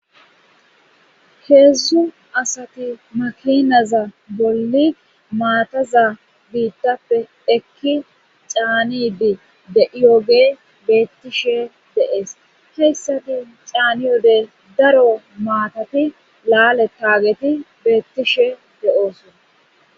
heedzdzu asati makinaza bolli maataza biittappe ekki caanidi de7iyoge beettishe deees heyssati caani yode daro maatati laale taageti beettishe de7oosona